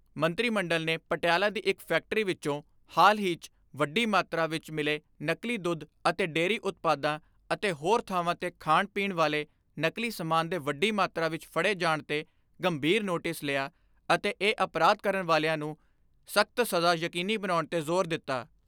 ਮੰਤਰੀ ਮੰਡਲ ਨੇ ਪਟਿਆਲਾ ਦੀ ਇੱਕ ਫੈਕਟਰੀ ਵਿੱਚੋਂ ਹਾਲ ਹੀ 'ਚ ਵੱਡੀ ਮਾਤਰਾ ਵਿੱਚ ਮਿਲੇ ਨਕਲੀ ਦੁੱਧ ਅਤੇ ਡੇਅਰੀ ਉਤਪਾਦਾਂ ਅਤੇ ਹੋਰਾਂ ਥਾਵਾਂ 'ਤੇ ਖਾਣ ਪੀਣ ਵਾਲੇ ਨਕਲੀ ਸਮਾਨ ਦੇ ਵੱਡੀ ਮਾਤਰਾ ਵਿੱਚ ਫੜੇ ਜਾਣ 'ਤੇ ਗੰਭੀਰ ਨੋਟਿਸ ਲਿਆ ਅਤੇ ਇਹ ਅਪਰਾਧ ਕਰਨ ਵਾਲਿਆਂ ਨੂੰ ਸਖਤ ਸਜ਼ਾ ਯਕੀਨੀ ਬਣਾਉਣ 'ਤੇ ਜ਼ੋਰ ਦਿੱਤਾ।